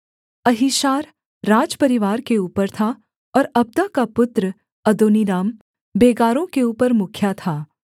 Ahishar राजपरिवार के ऊपर था और अब्दा का पुत्र अदोनीराम बेगारों के ऊपर मुखिया था